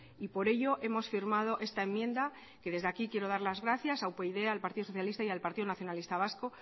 y por ello hemos firmado esta enmienda que desde aquí quiero dar las gracias a upyd al partido socialista y al partido nacionalista vasco